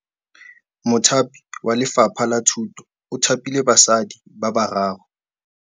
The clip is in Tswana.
Mothapi wa Lefapha la Thutô o thapile basadi ba ba raro.